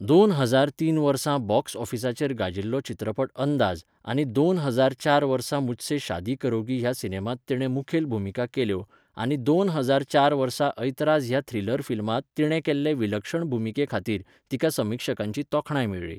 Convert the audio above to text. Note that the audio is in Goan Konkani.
दोन हजार तीन वर्सा बॉक्स ऑफिसाचेर गाजिल्लो चित्रपट अंदाज आनी दोन हजार चार वर्सा मुझसे शादी करोगी ह्या सिनेमांत तिणें मुखेल भुमिका केल्यो आनी दोन हजार चार वर्सा 'अैत्राज' ह्या थ्रिलर फिल्मांत तिणें केल्ले विलक्षण भुमिके खातीर तिका समीक्षकांची तोखणाय मेळ्ळी.